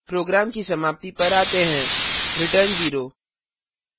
program की समाप्ति पर आते हैं return 0;